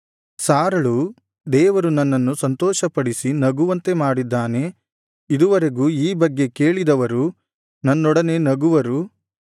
ಸಾರಳು ದೇವರು ನನ್ನನ್ನು ಸಂತೋಷಪಡಿಸಿ ನಗುವಂತೆ ಮಾಡಿದ್ದಾನೆ ಇದುವರೆಗೂ ಈ ಬಗ್ಗೆ ಕೇಳಿದವರು ನನ್ನೊಡನೆ ನಗುವರು